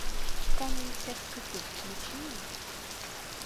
канун всех святых включи мне